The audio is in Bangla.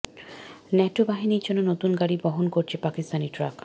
ন্যাটো বাহিনীর জন্য নতুন গাড়ি বহন করছে পাকিস্তানি ট্রাক